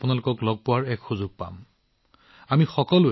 আপোনালোকক লগ পোৱাৰ সুযোগো পোৱা যাব